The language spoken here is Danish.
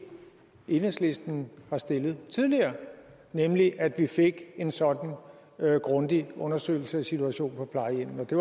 enhedslisten har stillet tidligere nemlig at vi fik en sådan grundig undersøgelse af situationen på plejehjemmene det